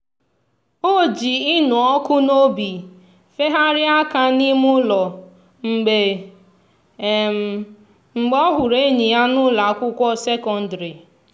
o ji ịnụ ọkụ n'obi feharịa aka n'ime ụlọ mgbe mgbe ọ hụrụ enyi ya n'ụlọ akwụkwọ sekondịrị.